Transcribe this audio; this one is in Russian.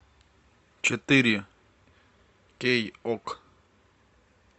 четыре кей ок